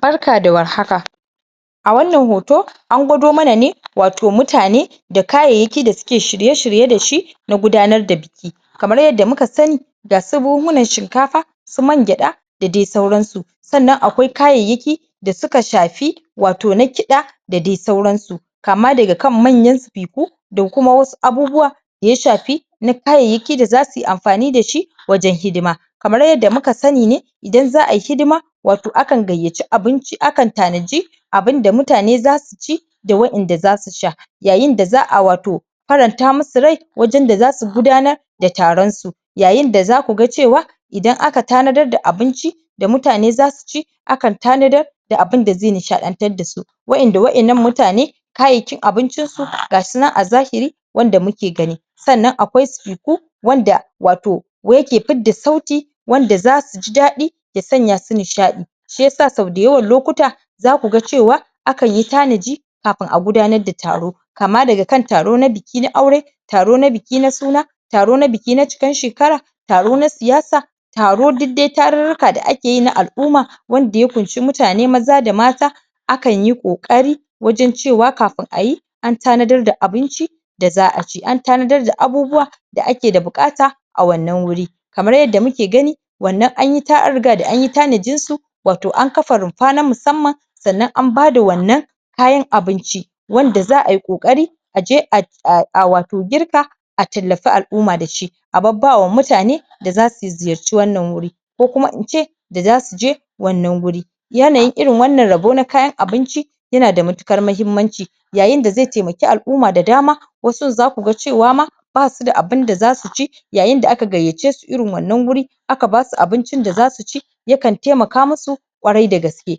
Barka da war haka a wannan hoto an gwado mana ne wato mutane da kayyayaki da suke shirye-shirye da shi na gudanar da buki kamar yadda muka sani ga su buhunhunan shinkafa su man gwaɗa da de sauransu sannan akwai kayayyaki da suka shafi wato na kiɗa da de sauransu kama daga kan manyan sifiku da kuma wasu abubuwa da ya shafi na kayayyaki da za su yi amfani da shi wajen hidima kamar yadda muka sani ne idan za a yi hidima wato akan gayyaci abinci akan tanaji abin da mutane za su ci da waƴanda za su sha yayin da za a wato faranta musu rai wajen da za su gudanar da taron su yayin da za ku ga cewa idan aka tanadar da abinci da mutane za su ci akan tanadar da abin da ze nishaɗantar da su waƴanda waƴannan mutane kayakin abincinsu ga shi nan a zahiri wanda muke gani sannan akwai sifiku wanda wato wa yake fidda sauti wanda za su ji daɗi ya sanya su nishaɗi shi yasa sau dayawan lokuta za ku ga cewa akan yi tanaji kafin a gudanar da taro kama daga taro na buki na aure taro na buki na suna taro na buki na cikan shekara taro na siyasa taro duk de tarurruka da ake yi na al'uma wanda ya kunshi mutane maza da mata akan yi ƙoƙari wajen cewa kafin a yi an tanadar da abinci da za a ci an tadanar da abubuwa da ake da buƙata a wannan wuri kamar yadda muke gani wannan an riga da an yi tanajin su wato an kafa rumfa na musamman sannan an bada wannan kayan abinci wanda za a yi ƙoƙari a je a wato girka a tallafi al'uma da shi a babbawa mutane da za su ziyarci wannan wuri ko kuma in ce da za su je wannan guri yanayin irin wannna rabo na kayan abinci yana da matukar muhimmanci yayin da ze temaki al'uma da dama wasun za ku cewa ma ba su da abin da za su ci yayin da aka gayyace su irin wannan guri aka ba su abincin da za su ci ya kan temaka musu kwarai da gaske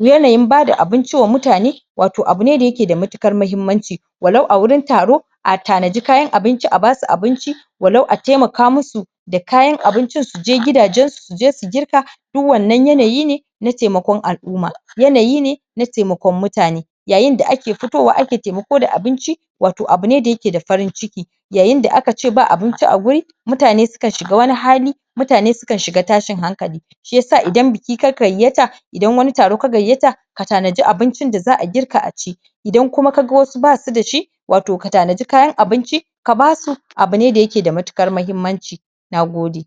yanayin bada abinci wa mutane wato abu ne da yake da matukar muhimmanci walau a wurin taro a tanaji kayan abinci a ba su abinci walau a temaka musu da kayan abincin su je gidajensu su je su girka du wannan yanayi ne na temakon al'uma yanayi ne na temakon mutane yayin da ake fitowa ake temako da abinci wato abu ne da yake da farin-ciki yayin da aka ce ba abinci a wuri mutane su kan shiga wani hali mutane su kan shiga tashin hankali shi yasa idan buki ka gayyata idan wani taro ka gayyata ka tanaji abincin da za a girka a ci idan kuma ka ga wasu ba su da shi wato ka tanaji kayan abinci ka ba su abu ne da yake da matuƙar muhimmanci na gode